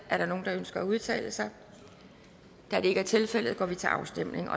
er der nogen der ønsker at udtale sig da det ikke er tilfældet går vi til afstemning